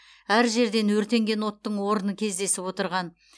әр жерден өртенген оттың орны кездесіп отырған